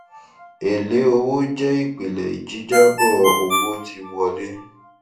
èlé owó jẹ ìpìlẹ jíjábọ owó tí wọlé